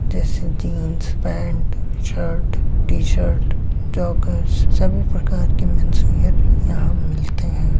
जेसे jeans pant shirt T-shirt जोकर्स सभी प्रकार के मेंस वियर यहां मिलते है।